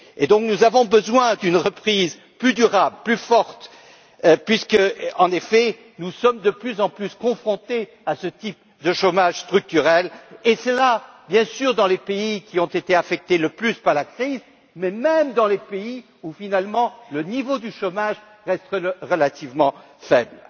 Et donc, nous avons besoin d'une reprise plus durable, plus forte, puisqu'en effet, nous sommes de plus en plus confrontés à ce type de chômage structurel, et ce, bien sûr, dans les pays qui ont été affectés le plus par la crise, mais même dans les pays où, finalement, le niveau du chômage reste relativement faible.